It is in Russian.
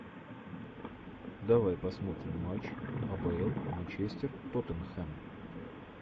давай посмотрим матч апл манчестер тоттенхэм